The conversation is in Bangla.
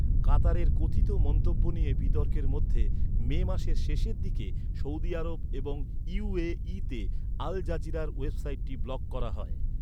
কাতারের কথিত মন্তব্য নিয়ে বিতর্কের মধ্যে, মে মাসের শেষের দিকে সৌদি আরব এবং ইউ এ ইতে আল জাজিরার ওয়েবসাইটটি ব্লক করা হয়।